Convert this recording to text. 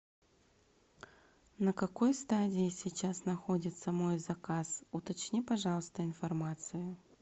на какой стадии сейчас находится мой заказ уточни пожалуйста информацию